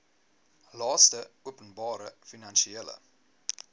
laste openbare finansiële